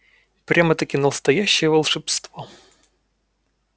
прямо-таки настоящее волшебство